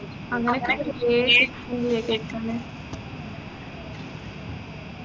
അങ്ങനൊക്കെയായിട്ട് കുറെ വേഗം കിട്ടുഅല്ലെ